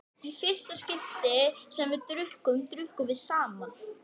Í fyrsta skipti sem við drukkum, drukkum við saman.